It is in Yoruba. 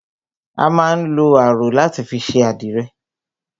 A má ń lọ aró láti fi ṣe àdìrẹ